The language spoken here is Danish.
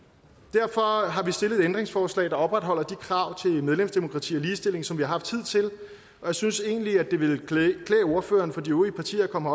derfor har vi stillet et ændringsforslag der opretholder de krav til medlemsdemokrati og ligestilling som vi har haft hidtil og jeg synes egentlig at det ville klæde ordførerne for de øvrige partier at komme